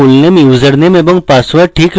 আমার fullname username এবং password ঠিক আছে